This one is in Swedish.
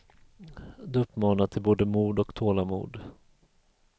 Det uppmanar till både mod och tålamod.